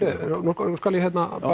okkar nú skal ég